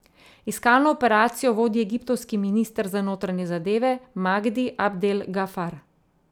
Iskalno operacijo vodi egiptovski minister za notranje zadeve Magdi Abdel Gafar.